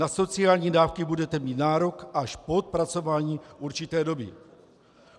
Na sociální dávky budete mít nárok až po odpracování určité doby.